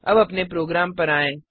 अब अपने प्रोग्राम पर आएँ